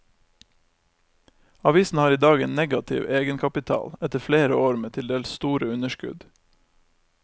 Avisen har i dag en negativ egenkapital, etter flere år med til dels store underskudd.